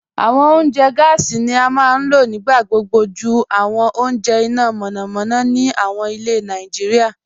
Awọn ọ̀unjẹ́ gásí ni a maa n lọ̀ nígbàgbogbo jù awọn ọ̀unjẹ́ iná mọ̀nàmọ̀nà ni awọn ilẹ̀ Naijíríà